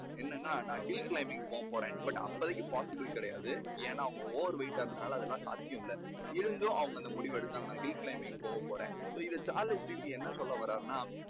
என்னென்னா நான் hill climbing போகப் போறேன். but அப்போதைக்கு possible கிடையாது. ஏன்னா அவங்க over weight டா இருந்ததுனால அதெல்லாம் சாத்தியமே இல்லை. இருந்தும் அவங்க அந்த முடிவை எடுத்தாங்க. hill climbing போகப் போறேன். so இது சார்லஸ் டிக்கின்ஸ் என்ன சொல்ல வாராருன்னா